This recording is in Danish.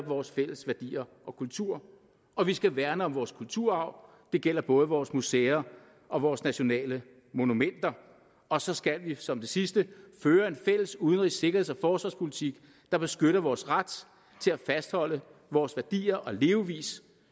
vores fælles værdier og kultur og vi skal værne om vores kulturarv det gælder både vores museer og vores nationale monumenter og så skal vi som det sidste føre en fælles udenrigs sikkerheds og forsvarspolitik der beskytter vores ret til at fastholde vores værdier og levevis